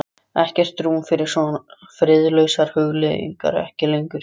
Ekkert rúm fyrir svo friðlausar hugleiðingar: ekki lengur.